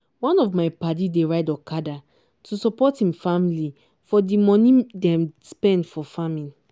one of my padi dey ride okada to support him family for di moni dem spend for farming.